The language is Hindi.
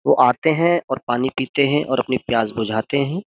वो आते हैं और पानी पीते हैं और अपनी प्यास बुझाते हैं।